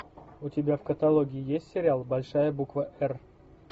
у тебя в каталоге есть сериал большая буква р